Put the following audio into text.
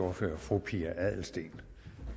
ordfører fru pia adelsteen